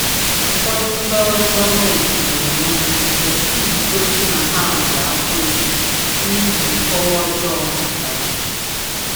Ụfọdụ ndị ọrụ gọmenti na-enwe nrụgide iji gosi na ha nwere afọ ojuju n’ihi nkọwa ọjọọ gbasara ha.